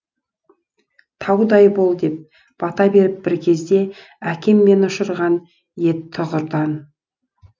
таудай бол деп бата беріп бір кезде әкем мені ұшырған ед тұғырдан